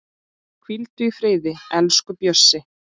Hvíldu í friði, elsku Bjössi.